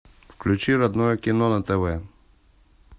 включи родное кино на тв